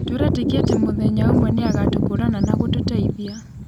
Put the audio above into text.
Tũretĩkia atĩ mũthenya ũmwe nĩ agatũkũrana na gũtũteithia.